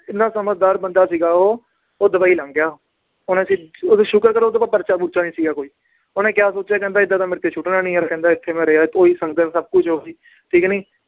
ਇੰਨਾ ਸਮਝਦਾਰ ਬੰਦਾ ਸੀਗਾ ਉਹ ਉਹ ਦੁਬਈ ਲੰਘ ਗਿਆ ਸ਼ੁਕਰ ਕਰੋ ਉਹਦੇ ਕੋਲ ਪਰਚਾ ਪੂਰਚਾ ਨੀ ਸੀਗਾ ਕੋਈ, ਉਹਨੇ ਕਿਆ ਸੋਚਿਆ ਕਹਿੰਦਾ ਏਦਾਂ ਤਾਂ ਮੇਰੇ ਤੇ ਸੁੱਟਣਾ ਨੀ ਯਾਰ ਕਹਿੰਦਾ ਇੱਥੇ ਮੈਂ ਰਿਹਾ ਉਹੀ ਸੰਗਤ ਸਭ ਕੁਛ ਉਹੀ ਠੀਕ ਨੀ